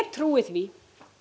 trúi því